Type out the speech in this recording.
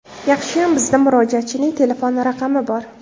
Yaxshiyam bizda murojaatchining telefon raqami bor.